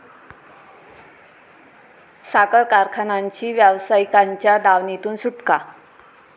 साखर कारखानांची व्यावसायिकांच्या दावणीतून सुटका